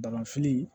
Bagan fili